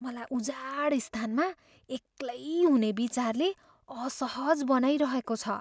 मलाई उजाडस्थानमा एक्लै हुने विचारले असहज बनाइरहेको छ।